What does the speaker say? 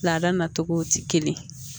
Laada nacogow tɛ kelen ye